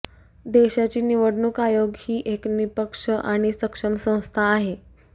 देशाची निवडणूक आयोग ही एक निःपक्ष आणि सक्षम संस्था आहे